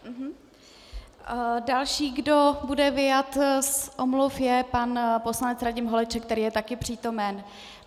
Další, kdo bude vyjmut z omluv, je pan poslanec Radim Holeček, který je taky přítomen.